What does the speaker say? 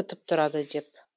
күтіп тұрады деп